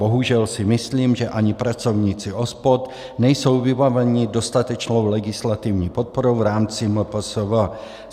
Bohužel si myslím, že ani pracovníci OSPOD nejsou vybaveni dostatečnou legislativní podporou v rámci MPSV.